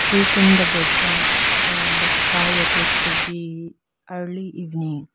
trees in the background and the sky appears to be early evening.